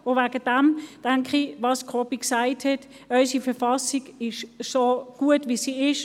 Deshalb bin ich einig mit Jakob Schwarz, der gesagt hat, dass unsere Verfassung gut so ist, wie sie ist.